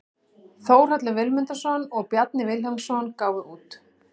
Þórhallur Vilmundarson og Bjarni Vilhjálmsson gáfu út.